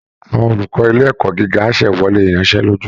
Àwọn olùkọ́ ilé ẹ̀kọ́ gíga á ṣẹ́wọ́lé ìyanṣẹ́lódì